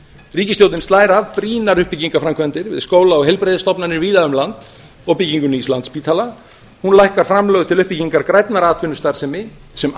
ríkisstjórnin slær af brýnar uppbyggingar framkvæmdir við skóla og heilbrigðisstofnanir víða um land og byggingu nýs landspítala hún lækkar framlög til uppbyggingar grænnar atvinnustarfsemi sem